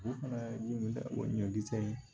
Olu fana o ɲɔgulɔji tɛ